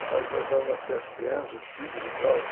Estavam começando a nascer as crianças, os filhos e tal.